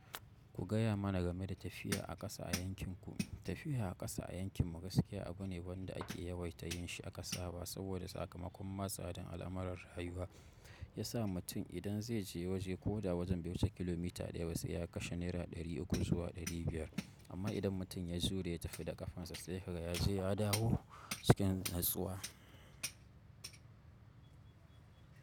Ku gaya mana game da tafiya a ƙasa a yankinku. Tafiya a ƙasa a yankin gaskiya abu ne wanda ake yawaita yin shi a ƙasaba saboda sakamakon ma tsadan al'amuran rayuwa ya sa mutum idan zai je waje ko da wajen bai wuce kilomita ɗaya sai ya kashe Naira ɗari uku zuwa ɗari biyar amma idan mutum ya zo da ya tafi da ƙafansa sai haka ya je ya dawo cikin natsuwa.